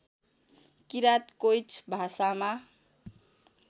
किराँत कोइँच भाषामा